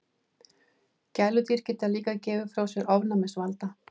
Gæludýr geta líka gefið frá sér ofnæmisvalda.